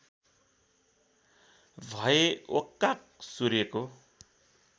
भए ओक्काक सूर्यको